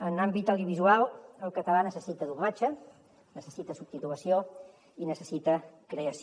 en l’àmbit audiovisual el català necessita doblatge necessita subtitulació i necessita creació